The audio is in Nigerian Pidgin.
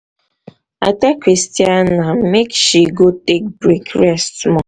i tell christiana make um she go take break rest small